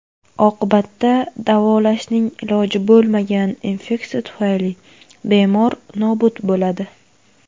Oqibatda davolashning iloji bo‘lmagan infeksiya tufayli bemor nobud bo‘ladi.